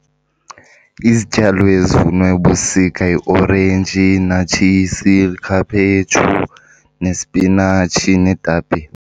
Izityalo ezivunwa ebusika yiorenji, iinatshisi, likhaphetshu nesipinatshi neetapile.